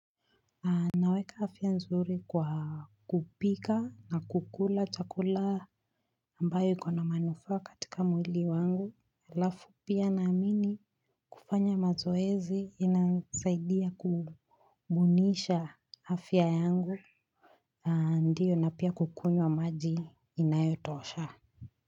Naweka afya nzuri kwa kupika na kukula chakula ambayo ikona manufaa katika mwili wangu alafu pia naamini kufanya mazoezi inasaidia kubunisha afya yangu ndiyo na pia kukunywa maji inayotosha.